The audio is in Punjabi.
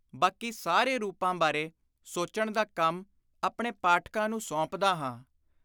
ਬਾਕੀ ਸਾਰੇ ਰੂਪਾਂ ਬਾਰੇ ਸੋਚਣ ਦਾ ਕੰਮ ਆਪਣੇ ਪਾਠਕਾਂ ਨੂੰ ਸੌਂਪਦਾ ਹਾਂ।